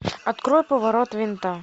открой поворот винта